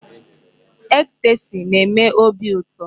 Ecstasy na-eme óbị ụtọ.